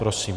Prosím.